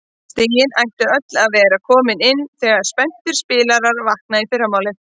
Stigin ættu öll að vera komin inn þegar spenntir spilarar vakna í fyrramálið.